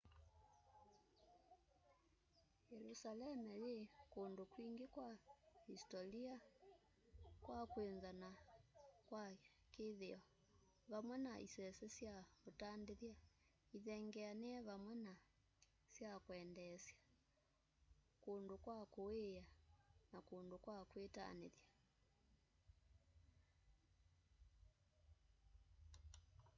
yelusaleme yi kundu kwingi kwa isitolia kwa kwinza na kwa kithio vamwe na isese sya utandithya ithengeanie vamwe na sya kwendeesya kundu kwa kuiia na kundu kwa kwitanithya